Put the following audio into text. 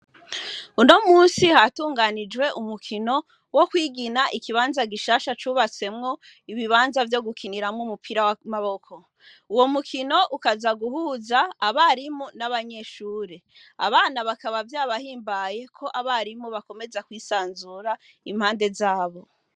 Uno musi hatunganijwe umukino wo kwigina ikibanza gishasha cubatsemwo ibibanza vyo gukiniramwo umupira w'amaboko. Uwo mukino ukaza guhuza abarimu n'abanyeshure. Abana bakaba vyabahimbaye ko abarimu bakomeza kwisanzura impande za bo.